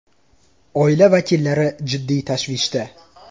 Oila vakillari jiddiy tashvishda.